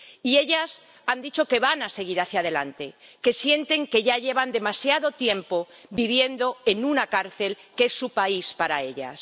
Y ellas han dicho que van a seguir hacia adelante, que sienten que ya llevan demasiado tiempo viviendo en una cárcel lo que es su país para ellas.